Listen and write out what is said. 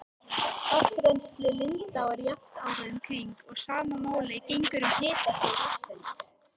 Vatnsrennsli lindáa er jafnt árið um kring og sama máli gegnir um hitastig vatnsins.